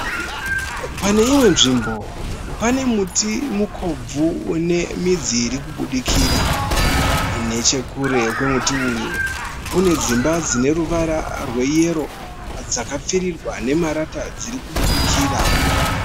Paneimwe nzvimbo panemuti mukobvu unemidzi irikubudikira. Nechekure kwemuti uyu kunedzimba dzineruvara rweyero dzakapfirirwa nemarata dzirikubudikira.